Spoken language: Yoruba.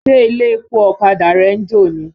Ṣé ilé-epo ọ̀kadà rẹ ń jò ni?